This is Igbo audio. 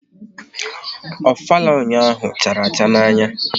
Ofala ụnyaahụ chara acha n'anya